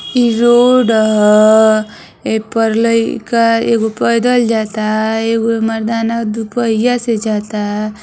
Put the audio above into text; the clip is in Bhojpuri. इ रोड ह ऐपर लइका एगो पैदल जाता एगो मर्दाना दुपहिया से जाता।